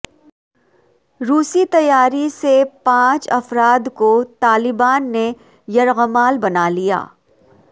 روسی طیارے سے پانچ افراد کو طالبان نے یرغمال بنا لیا